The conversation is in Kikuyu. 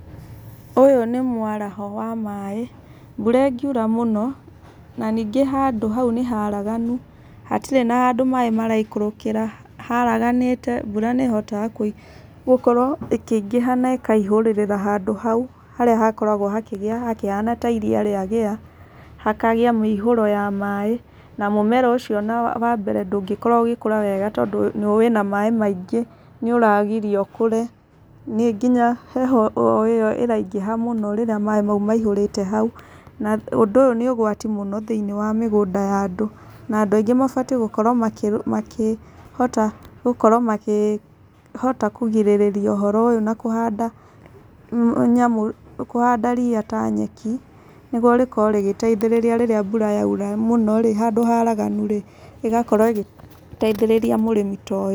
Ũyũ nĩ mwaraho wa maĩ mbũra ĩngiũra mũno na nĩngĩ handũ haũ nĩharaganũ hatĩrĩ na handũ maĩ maraikũrũkĩra haraganĩte mbũra nĩ ĩhotaga gũkorwo ĩ kĩingĩha na ĩkaĩhũrĩrĩra handũ haũ harĩa hakoragwo hakĩgĩa hakũhana ta iria rĩa gĩa hakagia mĩihũro ya maĩ na mũmere ũcio na wambere ndũngĩkorwo ũgĩkũra wega tondũ wĩna maĩ maingĩ nĩũragirio ũkũre nĩ ngĩnya heho ĩyo ĩraingĩha mũno rĩrĩa maĩ maihũrĩte haũ na ũndũ ũyũ nĩ ũgwati mũno thĩinĩ wa mĩgũnda ya andũ na andũ ainiĩ mabatiĩ gũkorwo makĩ makĩhota gũkorwo makĩ makĩhota kũgĩrĩria ũhoro ũyũ na kũhanda nyamũ kũhanda ria ta nyekinĩgũo rĩkorwp rĩgĩteithĩrĩria rĩrĩa mbũra ya ũra mũno rĩ handũ ha haraganũ rĩ ĩgakorwo ĩgĩ teĩthĩrĩria mũrĩmi.